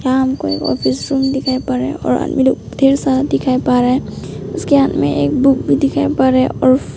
यहां हमको एक ऑफिस रूम दिखाएं पड़ रहा और आदमी लोग ढेर सारा दिखाई पड़ रा और उसके हाथ में एक बुक भी दिखाई पड़ रा--